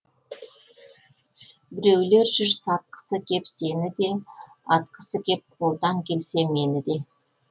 біреулер жүр сатқысы кеп сені де атқысы кеп қолдан келсе мені де